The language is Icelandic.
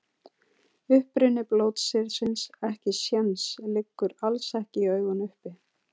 Uppruni blótsyrðisins ekkisens liggur alls ekki í augum uppi.